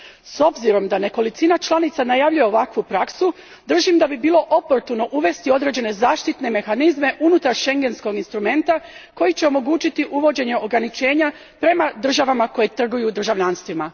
S obzirom da nekolicina članica najavljuje ovakvu praksu, držim da bi bilo oportuno uvesti određene zaštitne mehanizme unutar schengenskog instrumenta koji će omogućiti uvođenje ograničenja prema državama koje trguju državljanstvima.